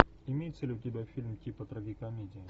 имеется ли у тебя фильм типа трагикомедия